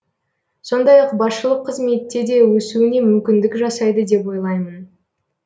сондай ақ басшылық қызметте де өсуіне мүмкіндік жасайды деп ойлаймын